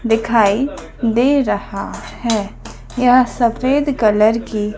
दिखाई दे रहा है यह सफेद कलर की--